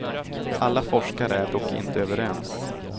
Alla forskare är dock inte överens.